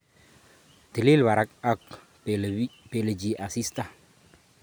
Tilil barak ako npele chii asista